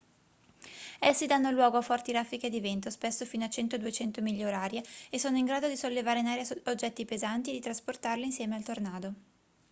essi danno luogo a forti raffiche di vento spesso fino a 100-200 miglia orarie e sono in grado di sollevare in aria oggetti pesanti e di trasportarli insieme al tornado